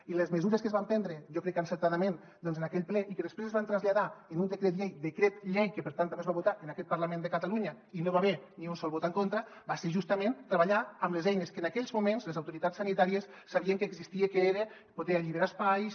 i les mesures que es van prendre jo crec que encertadament en aquell ple i que després es van traslladar en un decret llei decret llei que per tant també es va votar en aquest parlament de catalunya i no hi va haver ni un sol vot en contra van ser justament treballar amb les eines que en aquells moments les autoritats sanitàries sabien que existien que era poder alliberar espais